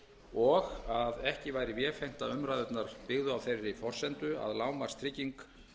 og að ekki væri vefengt að umræðurnar byggðu á þeirri forsendu að lágmarkstrygging